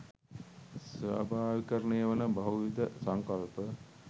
ස්වාභාවිකරණය වන බහුවිධ සංකල්ප